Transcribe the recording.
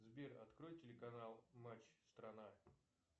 сбер открой телеканал матч страна